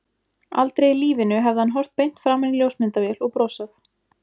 Aldrei í lífinu hefði hann horft beint framan í ljósmyndavél og brosað.